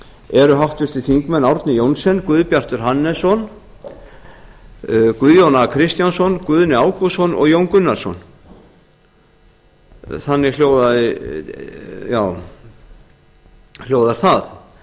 eru háttvirtir þingmenn árni johnsen guðbjartur hannesson guðjón a kristjánsson guðni ágústsson og jón gunnarsson þannig hljóðar það